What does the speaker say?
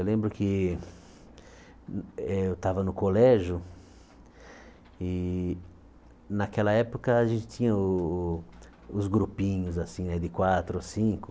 Eu lembro que eh eu estava no colégio e naquela época a gente tinha o o os grupinhos assim de quatro ou cinco